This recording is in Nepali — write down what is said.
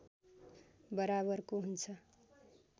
बराबरको हुन्छ